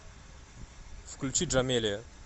включи джамелия